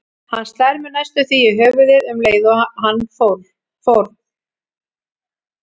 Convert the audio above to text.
Hann slær mig næstum því í höfuðið um leið og hann fórn